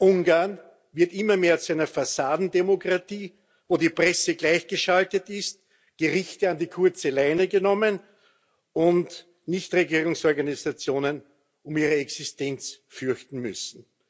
Ungarn wird immer mehr zu einer Fassadendemokratie, wo die Presse gleichgeschaltet ist, die Richter an die kurze Leine genommen werden und Nichtregierungsorganisationen um ihre Existenz fürchten müssen.